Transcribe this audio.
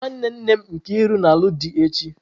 Nwa nwanne nne m Nkiru na-alụ di echi.